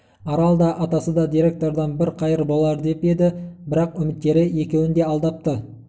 арал да атасы да директордан бір қайыр болар деп еді бірақ үміттері екеуін де алдапты